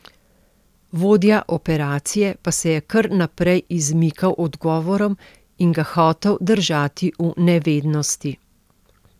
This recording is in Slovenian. Vodja operacije pa se je kar naprej izmikal odgovorom in ga hotel držati v nevednosti.